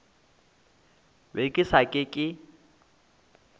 be ke sa ke ke